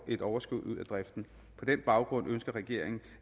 et overskud ud af driften på den baggrund ønsker regeringen